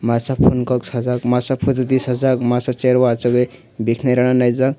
masa phone kok saajak masa photo tisajak masa chaie o achuk oi beranaijak.